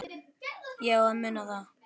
Ég á að muna það.